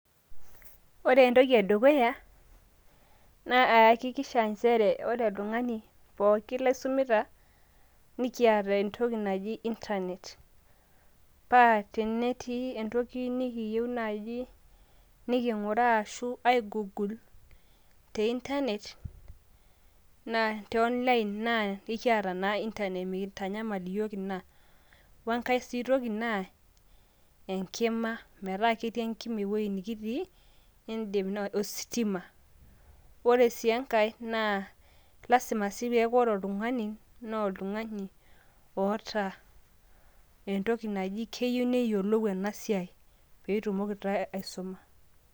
ore entoki edukuya naa kayakikisaha ajo ore oltungani ookin laisumita, nikiata entoki naji internet paa tenetii entoki nikiyieu naaji nikung'uraa ai google te internet te online naa ekiata naa internet neeku mitanyamal iyiook ina. wenkae sii toki naa, enkima metaa ketii enkima ewueji nikitii. ositima, ore sii enkae, naa lasima sii paa ore oltungani naa oltungani oota entoki naji keyieu neyiolou ena siai, pee itumoki taa aisuma.